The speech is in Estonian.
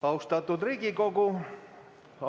Austatud Riigikogu!